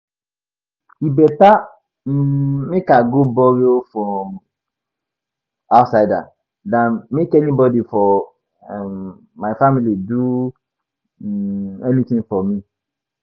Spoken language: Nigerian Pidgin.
E beta um make I go borrow from outsider than make anybody for um my family do um anything for me